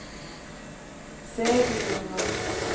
Seglora